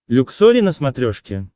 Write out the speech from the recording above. люксори на смотрешке